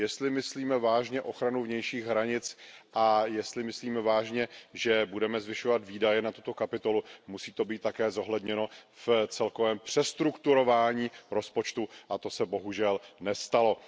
Jestli myslíme vážně ochranu vnějších hranic a jestli myslíme vážně, že budeme zvyšovat výdaje na tuto kapitolu, musí to být také zohledněno v celkovém přestrukturování rozpočtu a to se bohužel nestalo.